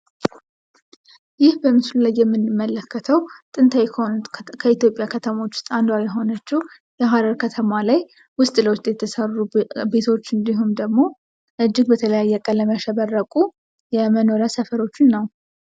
ይህ በምስሉ ላይ የምንመለከተው ጥንታዊ ከሆኑት የኢትዮጵያ ከተሞች አንዷ የሆነችው የሀረር ከተማ ላይ ውስጥ ለውስጥ የተሰሩ ቤቶች እንዲሁም ደግሞ እጅግ በተለያየ ቀለም ያሸበረቁ የመኖሪያ ሰፈሮችን ነው።